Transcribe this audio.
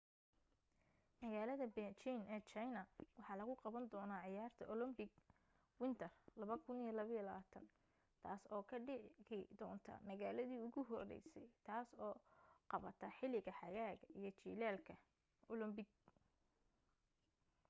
magaalada beijing ee china waxaa lagu qaban doona ciyaarta olympic winter 2022 taas oo ka dhigi doonta magaladi ugu horeysay taas oo qabata xiliga xagaaga iyo jilaalka olympic